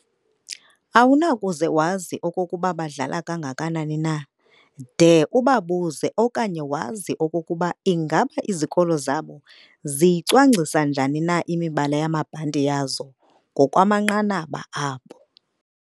Awunakuze wazi okokuba badlala kangakanani na de ubabuze okanye wazi okokuba ingaba izikolo zabo ziyicwangcisa njani na imibala yamabhanti yazo ngokwamanqanaba abo.